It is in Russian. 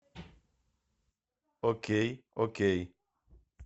окей окей